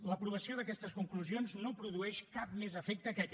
l’aprovació d’aquestes conclusions no produeix cap més efecte que aquest